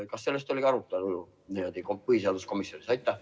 Kas sellest oli juttu põhiseaduskomisjonis?